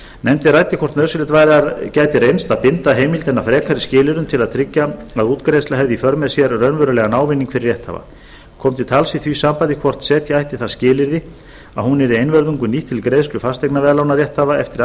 nefndin ræddi hvort nauðsynlegt gæti reynst að binda heimildina frekari skilyrðum til að tryggja að útgreiðsla hefði í för með sér raunverulegan ávinning fyrir rétthafa kom til tals í því sambandi hvort setja ætti það skilyrði að hún yrði einvörðungu nýtt til greiðslu fasteignaveðlána rétthafa eftir